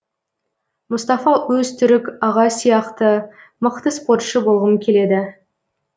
мұстафа өзтүрік аға сияқты мықты спортшы болғым келеді